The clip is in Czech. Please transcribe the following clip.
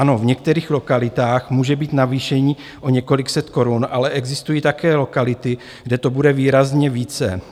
Ano, v některých lokalitách může být navýšení o několik set korun, ale existují také lokality, kde to bude výrazně více.